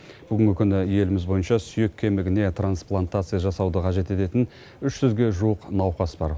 бүгінгі күні еліміз бойынша сүйек кемігіне трансплантация жасауды қажет ететін үш жүзге жуық науқас бар